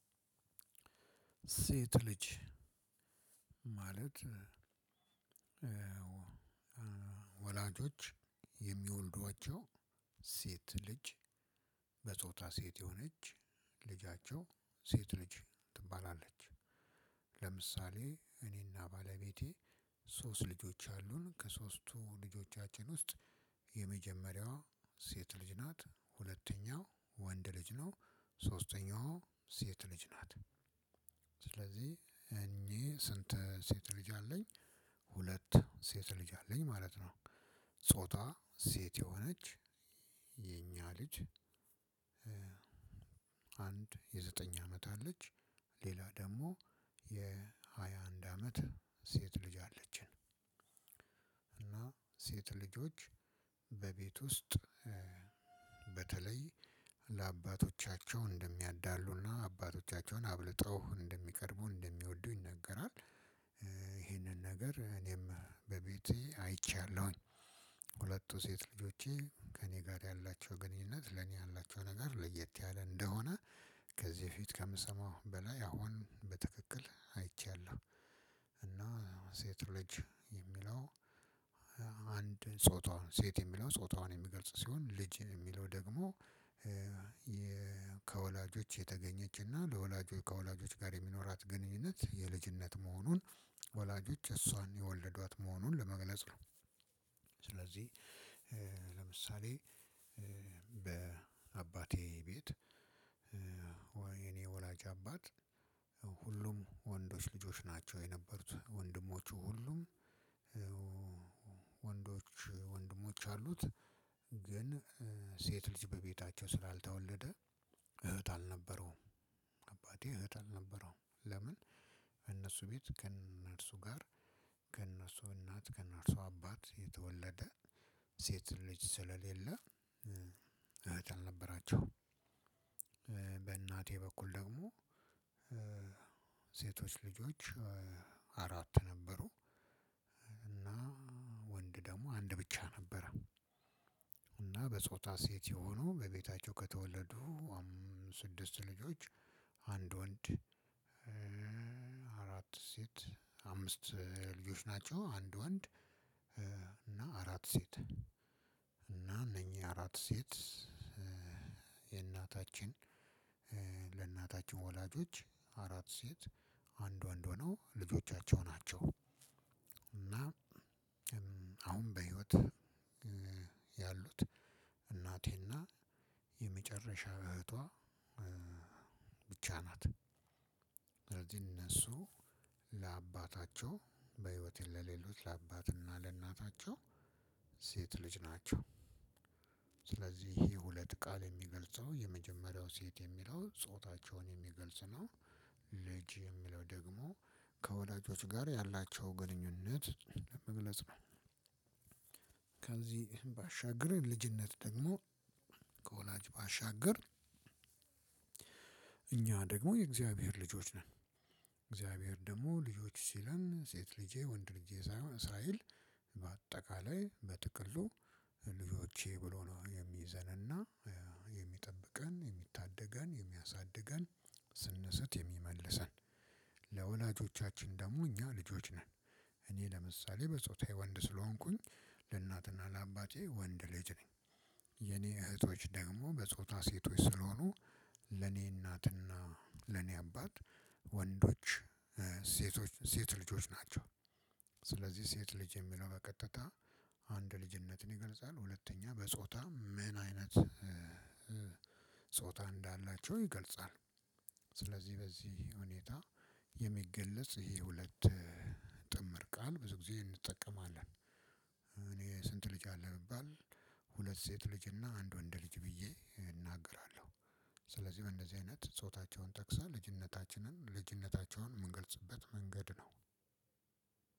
ሴት ልጅ ማለት ወላጆች የሚወልዷቸው ሴት ልጅ በጾታ ሴት የሆነች ልጃቸው ሴት ልጅ ትባላለች። ለምሳሌ እኔና ባለቤቴ ሶስት ልጆች አሉን ከሶስቱ ልጆቻችን ውስጥ የመጀመሪያዋ ሴት ልጅ ናት። ሁለተኛው ወንድ ልጅ ነው። ሶስተኛዋ ሴት ልጅ ናት። ስለዚህ እኚህ ስንት ሴት ልጅ አለኝ ሁለት ሴት ልጅ አለኝ ማለት ነው። ጾታ ሴት የሆነች የኛ ልጅ። አንድ የዘጠኝ አመት አለች ሌላ ደግሞ የሃያ አንድ አመት ሴት ልጅ አለችን። እና ሴት ልጆች በቤት ውስጥ በተለይ ለአባቶቻቸው እንደሚያዳሉ እና አባቶቻቸውን አብልጠው እንደሚቀርቡ እንደሚወዱ ይነገራል። ይሄንን ነገር እኔም በቤቴ አይቻለሁኝ። ሁለቱ ሴት ልጆቼ ከኔ ጋር ያላቸው ግንኙነት ለኔ ያላቸው ነገር ለየት ያለ እንደሆነ። ከዚህ በፊት ከምሰማው በላይ አሁን በትክክል አይቻለሁ። እና ሴት ልጅ የሚለው። አንድ ጾታዋን ሴት የሚለው ጾታዋን የሚገልጽ ሲሆን ልጅ የሚለው ደግሞ። ከወላጆች የተገኘችና ከወላጆች ጋር የሚኖራት ግንኙነት የልጅነት መሆኑን ወላጆች እሷን የወለዷት መሆኑን ለመግለጽ ነው። ስለዚህ ለምሳሌ በአባቴ ቤት ወይ የእኔ ወላጅ አባት። ሁሉም ወንዶች ልጆች ናቸው የነበሩት ወንድሞቹ ሁሉም ወንዶች ወንድሞች አሉት። ግን ሴት ልጅ በቤታቸው ስላልተወለደ እህት አልነበረውም። አባቴ እህት አልነበረውም ለምን? እነሱ ቤት ከእነርሱ ጋር ከእነርሱ እናት ከእነርሱ አባት የተወለደ ሴት ልጅ ስለሌለ እህት አልነበራቸውም። በእናቴ በኩል ደግሞ ሴቶች ልጆች አራት ነበሩ። እና ወንድ ደግሞ አንድ ብቻ ነበረ። እና በጾታ ሴት የሆኑ በቤታቸው ከተወለዱ ስድስት ልጆች አንድ ወንድ አራት ሴት አምስት ልጆች ናቸው። አንድ ወንድ እና አራት ሴት እና እነኚህ አራት ሴት የእናታችን ለእናታችን ወላጆች አራት ሴት አንድ ወንድ ሆነው ልጆቻቸው ናቸው። እና አሁን በሂዎት ያሉት እናቴ እና የመጨረሻ እህቷ ብቻ ናት። እነሱ ለአባታቸው በህይወት ለሌሉት ለአባትና ለእናታቸው ሴት ልጅ ናቸው። ስለዚህ ይህ ሁለት ቃል የሚገልጸው የመጀመሪያው ሴት የሚለው ጾታቸውን የሚገልጽ ነው። ልጅ የሚለው ደግሞ ከወላጆች ጋር ያላቸው ግንኙነት ለመግለጽ ነው። ከዚህ ባሻገር ልጅነት ደግሞ ከወላጅ ባሻገር እኛ ደግሞ የእግዚአብሔር ልጆች ነን። እግዚአብሔር ደግሞ ልጆች ሲለን ሴት ልጄ ወንድ ልጄ ሳይሆን እስራኤል በአጠቃላይ በጥቅሉ ልጆቼ ብሎ ነው የሚይዘንና የሚጠብቀን የሚታደገን የሚያሳድገን ስንስት የሚመልሰን። ለወላጆቻችን ደግሞ እኛ ልጆች ነን። እኔ ለምሳሌ በፆታዬ ወንድ ስለሆንኩኝ። ለእናት ለአባቴ ወንድ ልጅ ነኝ። የኔ እህቶች ደግሞ በጾታ ሴቶች ስለሆኑ። ለኔ እናትና ለኔ አባት ወንዶች ሴቶች ሴት ልጆች ናቸው። ስለዚህ ሴት ልጅ የሚለው በቀጥታ አንድ ልጅነትን ይገልጻል። ሁለተኛ በጾታ ምን አይነት ጾታ እንዳላቸው ይገልጻል። ስለዚህ በዚህ ሁኔታ የሚገለጽ ይሄ ሁለት ጥምር ቃል ብዙ ጊዜ እንጠቀማለን። እኔ ስንት ልጅ አለህ ብባል ሁለት ሴት ልጅ እና አንድ ወንድ ልጅ ብዬ እናገራለሁ። ስለዚህ በእንደዚህ አይነት ጾታቸውን ጠቅሰን ልጅነታችንን ልጅነታቸውን የምንገልጽበት መንገድ ነው።